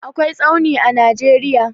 akwai tsauni a nageria